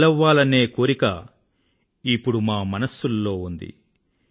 బలవ్వాలనే కోరిక ఇప్పుడు మా మనసుల్లో ఉంది